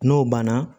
N'o banna